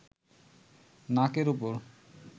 নাকের ওপর